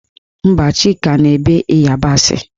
Mba, Chika na-ebe ịyabasị